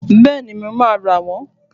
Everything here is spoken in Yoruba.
Bẹ́ẹ̀ni, mo máa rà wón